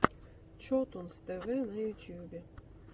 чотунз тэ вэ на ютубе